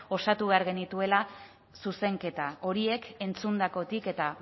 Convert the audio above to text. osatu behar genituela zuzenketa horiek entzundakotik eta